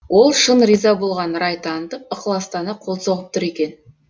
ол шын риза болған рай танытып ықыластана қол соғып тұр екен